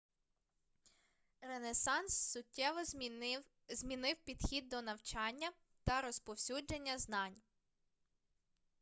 ренесанс суттєво змінив підхід до навчання та розповсюдження знань